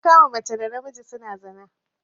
Na kama mace da namiji suna zina.